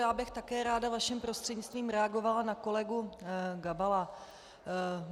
Já bych také ráda, vaším prostřednictvím, reagovala na kolegu Gabala.